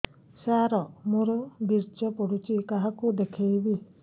ସାର ମୋର ବୀର୍ଯ୍ୟ ପଢ଼ୁଛି କାହାକୁ ଦେଖେଇବି